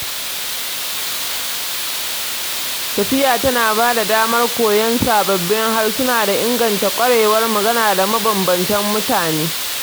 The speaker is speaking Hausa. Tafiya tana ba da damar koyon sababbin harsuna da inganta ƙwarewar magana da mabanbantan mutane